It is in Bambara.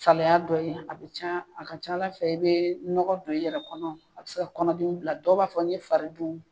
Saliya dɔ ye a bɛ can a ka can Ala fɛ i bɛ nɔgɔ don i yɛrɛ kɔnɔ a bɛ se kɔnɔdimi bila dɔw b'a fɔ n'i ye fari dun